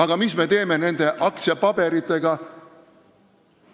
Ja mis me teeme nende aktsiapaberitega?